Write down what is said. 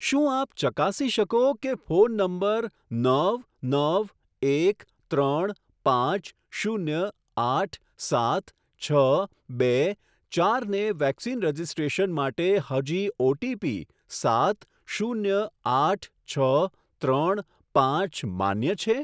શું આપ ચકાસી શકો કે ફોન નંબર નવ નવ એક ત્રણ પાંચ શૂન્ય આઠ સાત છ બે ચારને વેક્સિન રજિસ્ટ્રેશન માટે હજી ઓટીપી સાત શૂન્ય આઠ છ ત્રણ પાંચ માન્ય છે?